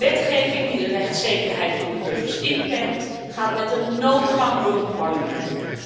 Wetgeving die de rechtszekerheid van de burgers inperkt, gaat met een noodgang door het Poolse Parlement.